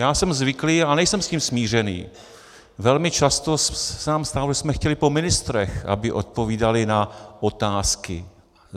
Já jsem zvyklý, a nejsem s tím smířený, velmi často se nám stávalo, že jsme chtěli po ministrech, aby odpovídali na otázky.